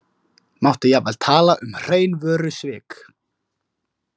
Mátti jafnvel tala um hrein vörusvik.